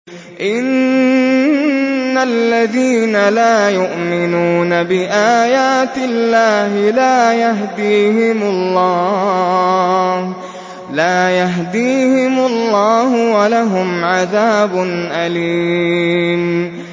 إِنَّ الَّذِينَ لَا يُؤْمِنُونَ بِآيَاتِ اللَّهِ لَا يَهْدِيهِمُ اللَّهُ وَلَهُمْ عَذَابٌ أَلِيمٌ